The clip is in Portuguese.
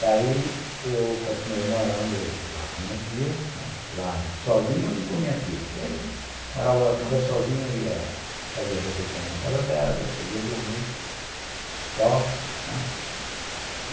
Daí eu continuei morando lá com minha tia, né, lá sozinho e com minha tia, porque morava, estava sozinho, ia fazer as refeições na casa dela, depois ia dormir só, né.